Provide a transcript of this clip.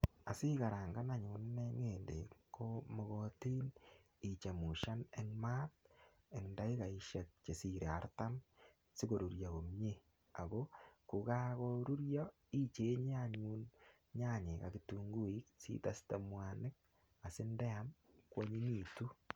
Asikarangan anyun ine ng'endek ko mokotin ichemushan eng maat eng saishek chesirei artam sikoruryo komie ako kokakorurio ichenye anyun nyanyek ak kitunguik siteste mwanik asindeam koanyinyitu.